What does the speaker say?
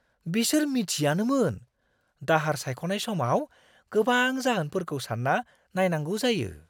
बिसोर मिथियानोमोन दाहार सायख'नाय समाव गोबां जाहोनफोरखौ सान्ना नायनांगौ जायो!